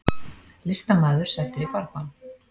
Listamaður settur í farbann